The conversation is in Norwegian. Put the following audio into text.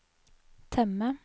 temme